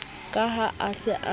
ke ha a se a